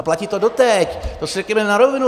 A platí to doteď, to si řekněme na rovinu.